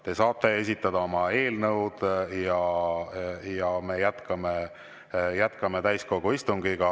Te saate esitada oma eelnõusid ja me jätkame täiskogu istungit.